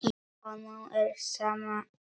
Honum er sama um fólk.